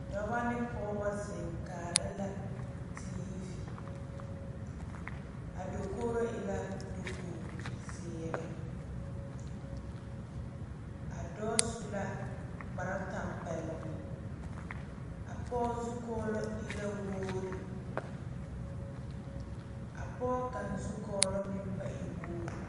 Dɔɔba ne pɔgeba zeŋ kaara la TV a dakogro e la dakogi ziiri a dɔɔ su kpare tanpɛloŋ a pɔge zukɔlo e la wogre a pɔge ka zukɔlo meŋ be e wogre.